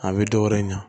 A bɛ dɔ wɛrɛ in ɲa